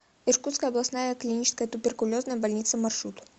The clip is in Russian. иркутская областная клиническая туберкулезная больница маршрут